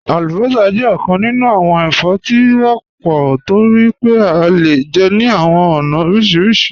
Alúbọ́sá jẹ̀ ọkàn nínú awọn ẹ̀fọ́ tí wọ́pọ̀ tó rí pé à le jẹ́ ní awọn ọ̀na orísírísì.